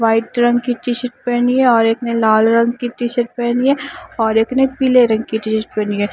White रंग की T shirt पहनी है और एक ने लाल रंग की टी शर्ट पहनी है और एक ने पीले रंग की शर्ट पहनी है।